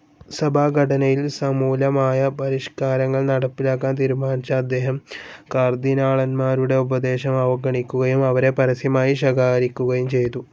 സഭാഘടനയിൽ സമൂലമായ പരിഷ്കാരങ്ങൾ നടപ്പാക്കാൻ തീരുമാനിച്ച അദ്ദേഹം കർദ്ദിനാളന്മാരുടെ ഉപദേശം അവഗണിക്കുകയും അവരെ പരസ്യമായി ശകാരിക്കുകയും ചെയ്തു.